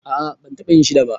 A'a ban taba yin shi da ba.